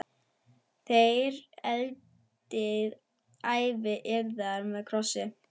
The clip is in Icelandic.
Þér endið ævi yðar með krossi.